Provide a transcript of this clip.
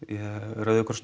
rauði krossinn